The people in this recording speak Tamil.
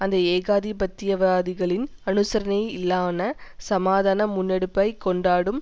அந்த ஏகாதிபத்தியவாதிகளின் அனுசரணையிலான சமாதான முன்னெடுப்பைக் கொண்டாடும்